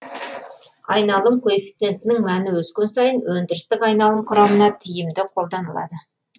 айналым коэфицентінің мәні өскен сайын өндірістік айналым құрамына тиімді қолданылады